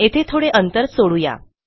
येथे थोडे अंतर सोडू या